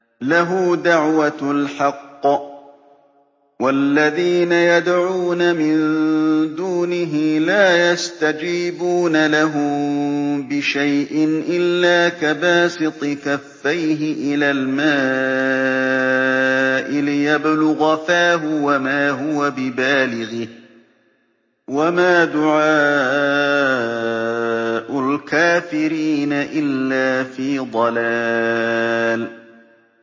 لَهُ دَعْوَةُ الْحَقِّ ۖ وَالَّذِينَ يَدْعُونَ مِن دُونِهِ لَا يَسْتَجِيبُونَ لَهُم بِشَيْءٍ إِلَّا كَبَاسِطِ كَفَّيْهِ إِلَى الْمَاءِ لِيَبْلُغَ فَاهُ وَمَا هُوَ بِبَالِغِهِ ۚ وَمَا دُعَاءُ الْكَافِرِينَ إِلَّا فِي ضَلَالٍ